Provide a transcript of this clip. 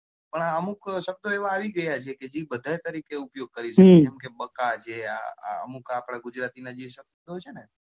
પણ અમુક શબ્દો એવા આવી ગયા છે કે જે બધા તરીકે ઉપયોગ કરી સકે છે જેમ કે બકા જયા અમુક આપણા જે ગુજરાતી નાં જે શબ્દો છે.